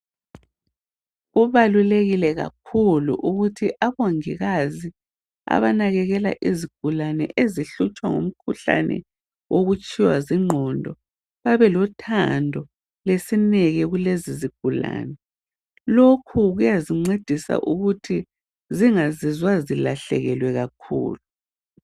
Kubalulekile kakhulu ukuthi abongikazi abanakekela izigulane ezihlutshwa ngumkhuhlane wokutshiywa zingqondo babelothando lesineke kulezizigulani lokhu kuyazincedisa ukuthi zingazizwa zilahlekelwe kakhulu